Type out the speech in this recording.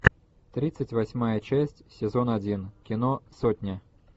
тридцать восьмая часть сезон один кино сотня